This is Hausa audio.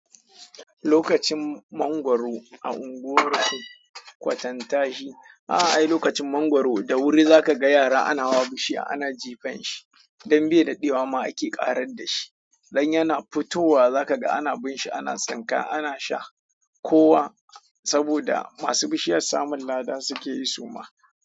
Lokacin mangwaro a unguwar ku kwatanta shi. A'a ai lokacin mangwaro da wuri za ka ga yara ana hawa bishiya ana jifen shi don bai daɗewama ake ƙarar dashi. Don yana fitowa za ka ga ana binshi, ana tsinka, ana sha kowa saboda masu bishiyar samun ladan suke yi su ma.